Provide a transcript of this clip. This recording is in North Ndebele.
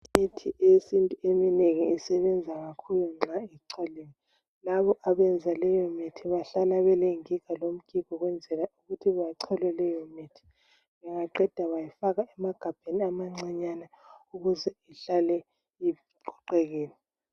Imithi yesintu eminengi isebenza kakhulu nxa icholiwe. Labo abenza leyomithi bahlala belengiga lomgigo ukwenzela ukuthi bachole leyomithi. Bengaqeda bayifaka emagabheni amancinyane ukuze ihlale iqoqekile.